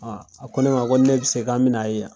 Aa a ko ne ma ko ni ne bɛ se k' an bɛna'a ye yan.